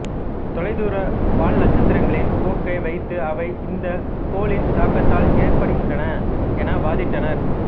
தொலைதூர வால்நட்சத்திரங்களின் போக்கை வைத்து அவை இந்த கோளின் தாக்கத்தால் ஏற்படுகின்றன என வாதிட்டனர்